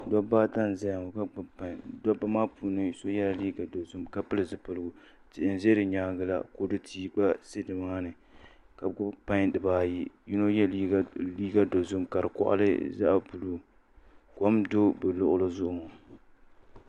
Dabba ata n ʒɛya ŋo ka gbubi pai dabba maa puuni so yɛla liiga dozim ka pili zipiligu tihi n ʒɛ di nyaangi la kodu tihi gba ʒi nimaani ka bi gbubi pai dibaayi yino yɛ liiga dozim ka di koɣali zaɣ buluu kom n do bi luɣuli zuɣu ŋo